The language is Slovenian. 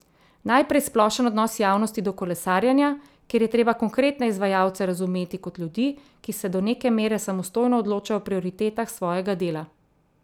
Najprej splošen odnos javnosti do kolesarjenja, kjer je treba konkretne izvajalce razumeti kot ljudi, ki se do neke mere samostojno odločajo o prioritetah svojega dela.